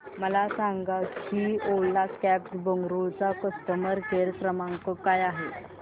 मला हे सांग की ओला कॅब्स बंगळुरू चा कस्टमर केअर क्रमांक काय आहे